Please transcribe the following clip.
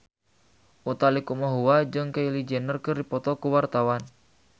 Utha Likumahua jeung Kylie Jenner keur dipoto ku wartawan